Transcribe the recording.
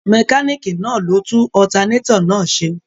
Mẹkáníìkì náà ló tún Ọtanétọ̀ náà ṣe